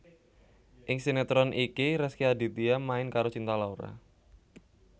Ing sinetron iki Rezky Aditya main karo Cinta Laura